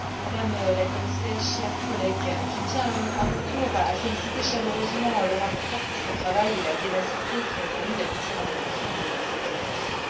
Madame la Commissaire, chers collègues, je tiens à mon tour à féliciter chaleureusement le rapporteur pour son travail et sa ténacité qui ont permis d'aboutir à l'adoption de cette directive.